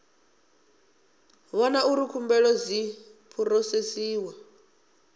vhona uri khumbelo dzi phurosesiwa